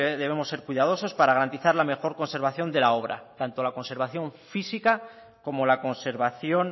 debemos ser cuidadosos para garantizar la mejor conservación de la obra tanto la conservación física como la conservación